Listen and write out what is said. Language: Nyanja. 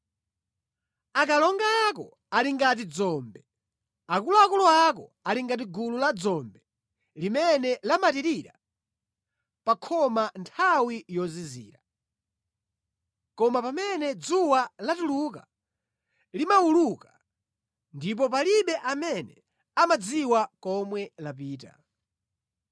Akalonga ako ali ngati dzombe, akuluakulu ako ali ngati gulu la dzombe limene lamatirira pa khoma nthawi yozizira, koma pamene dzuwa latuluka limawuluka, ndipo palibe amene amadziwa komwe lapita.